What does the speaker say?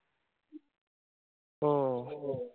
हो.